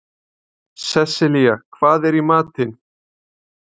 Seselía, hvað er í matinn?